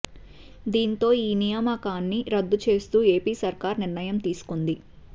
దీంతో ఈ నియామాకాన్ని రద్దు చేస్తూ ఏపీ సర్కార్ నిర్ణయం తీసుకొంది